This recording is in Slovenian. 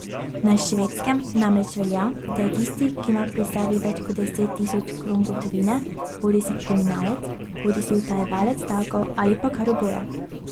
Na Švedskem namreč velja, da je tisti, ki ima pri sebi več kot deset tisoč kron gotovine, bodisi kriminalec bodisi utajevalec davkov, ali pa kar oboje.